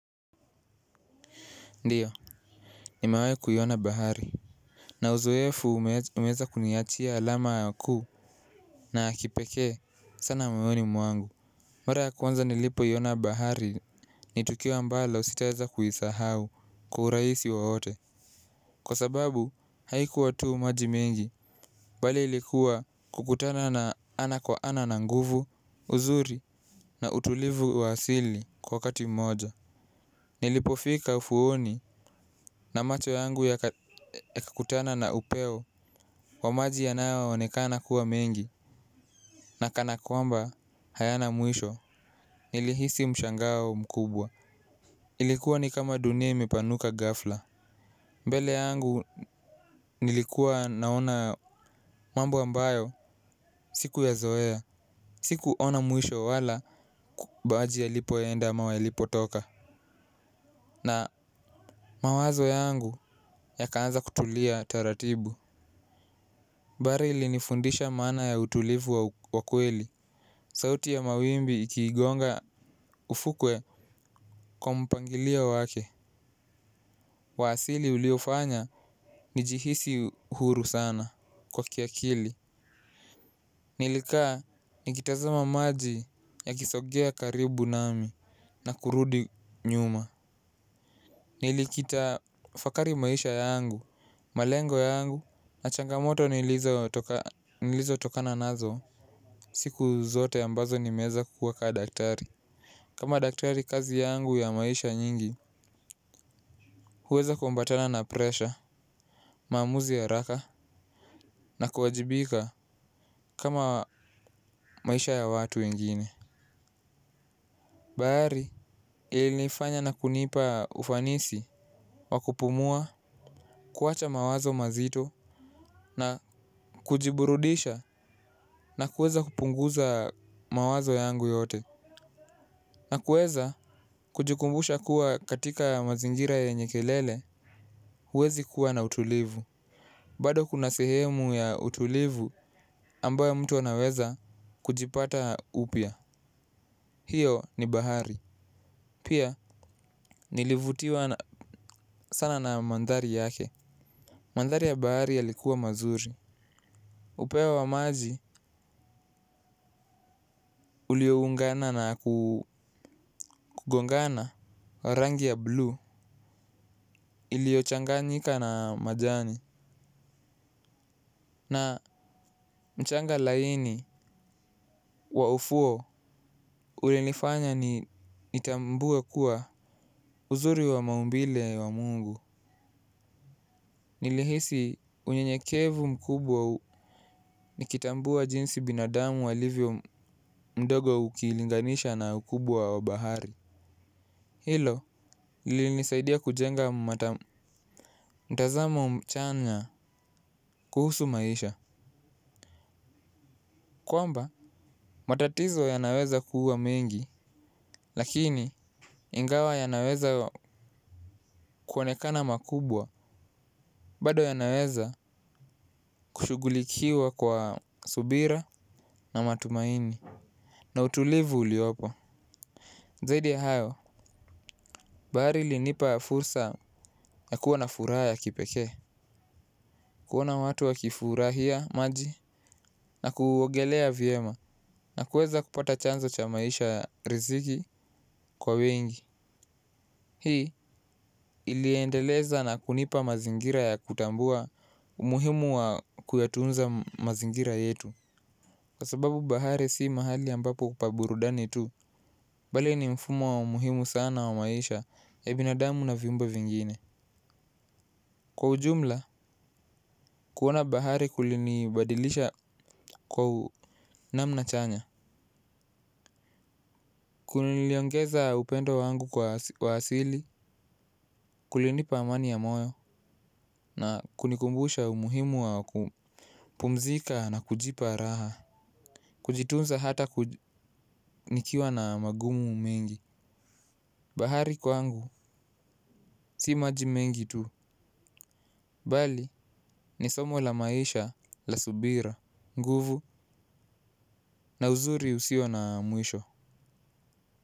Ndio, nimewai kuiona bahari. Na uzoefu umeweza kuniachia alama kuu na ya kipekee sana moyoni mwangu. Mara ya kwanza nilipoiona bahari ni tukio ambalo sitaeza kuisahau kwa urahisi wowote. Kwa sababu haikuwa tu maji mengi bali ilikuwa kukutana na ana kwa ana na nguvu, uzuri na utulivu wa asili kwa wakati mmoja. Nilipofika ufuoni na macho yangu ya kakutana na upeo wa maji yanayo onekana kuwa mengi. Na kana kwamba hayana mwisho. Nilihisi mshangao mkubwa. Ilikuwa ni kama dunia imepanuka ghafla. Mbele yangu nilikuwa naona mambo ambayo sikuyazoea. Sikuona mwisho wala maji yalipoenda ama yalipotoka. Na mawazo yangu yakaanza kutulia taratibu. Bahali ilinifundisha maana ya utulivu wa kweli. Sauti ya mawimbi ikiigonga ufukwe kwa mpangilio wake wa asili uliofanya nijihisi huru sana kwa kiakili. Nilikaa nikitazama maji ya kisongea karibu nami na kurudi nyuma. Nilikita fakari maisha yangu, malengo yangu. Na changamoto nilizotokana nazo siku zote ambazo nimeweza kuwa kaa daktari. Kama daktari kazi yangu ya maisha nyingi. Huweza kuambatana na presha, maamuzi ya haraka. Na kuwajibika kama maisha ya watu wengine. Bahari ilinifanya na kunipa ufanisi wa kupumua, kuwacha mawazo mazito. Na kujiburudisha na kuweza kupunguza mawazo yangu yote. Na kuweza kujikumbusha kuwa katika mazingira yenye kelele. Huwezi kuwa na utulivu. Bado kuna sehemu ya utulivu ambayo mtu anaweza kujipata upya. Hiyo ni bahari. Pia nilivutiwa sana na mandhari yake. Mandhari ya bahari yalikuwa mazuri. Upeo wa maji ulioungana na kugongana wa rangi ya blue iliyochanganyika na majani. Na mchanga laini wa ufuo. Ulinifanya nitambue kuwa uzuri wa maumbile wa Mungu. Nilihisi unyenyekevu mkubwa u nikitambua jinsi binadamu walivyo mdogo ukilinganisha na ukubwa wa bahari. Hilo lilinisaidia kujenga mtazamo mchanya kuhusu maisha. Kwamba matatizo yanaweza kuwa mengi. Lakini, ingawa yanaweza kuonekana makubwa, bado yanaweza kushughulikiwa kwa subira na matumaini. Na utulivu uliopo. Zaidi ya hayo, bahari ilinipa fursa ya kuwa na furaha ya kipekee. Kuona watu wa kifurahia maji na kuogelea vyema na kuweza kupata chanzo cha maisha ya riziki kwa wengi. Hii iliendeleza na kunipa mazingira ya kutambua umuhimu wa kuyatunza mazingira yetu. Kwa sababu bahari si mahali ambapo pa burudani tu. Bali ni mfumo wa umuhimu sana wa maisha ya binadamu na viumbe vingine. Kwa ujumla, kuona bahari kulini badilisha kwa namna chanya. Kuliniongeza upendo wangu kwa asili. Kulinipa amani ya moyo na kunikumbusha umuhimu wa kupumzika. Na kujipa raha. Kujitunza hata nikiwa na magumu mengi. Bahari kwangu si maji mengi tu. Bali ni somo la maisha la subira nguvu na uzuri usio na mwisho.